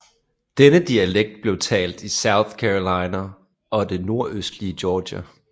Denne dialekt blev talt i South Carolina og det nordøstlige Georgia